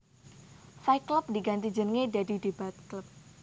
Fight Club diganti jenenge dadi Debate Club